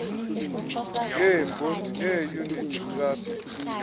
ngeebhondi neeyunithi trasti